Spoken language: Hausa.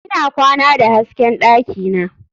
Ina kwana da hasken dakina.